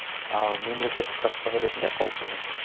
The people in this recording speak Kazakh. ал мемлекет тұтастығы ретінде қауіптенемін